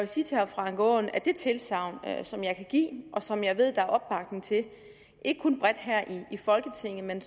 sige til herre frank aaen at det tilsagn som jeg kan give og som jeg ved at der er opbakning til ikke kun bredt her i folketinget men